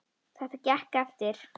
Þetta gekk eftir.